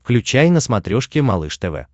включай на смотрешке малыш тв